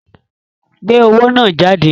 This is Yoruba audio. Gbé owó náà jáde!